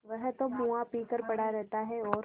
वह तो मुआ पी कर पड़ा रहता है और